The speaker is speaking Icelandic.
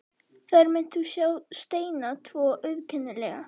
Þar munt þú sjá steina tvo, auðkennilega.